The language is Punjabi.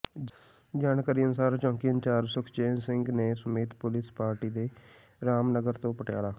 ਜਾਣਕਾਰੀ ਅਨੁਸਾਰ ਚੌਂਕੀ ਇੰਚਾਰਜ਼ ਸੁਖਚੈਨ ਸਿੰਘ ਨੇ ਸਮੇਤ ਪੁਲਸ ਪਾਰਟੀ ਦੇ ਰਾਮਨਗਰ ਤੋਂ ਪਟਿਆਲਾ